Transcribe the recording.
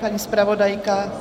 Paní zpravodajka?